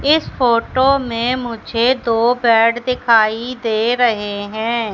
इस फोटो में मुझे दो बेड दिखाई दे रहे है।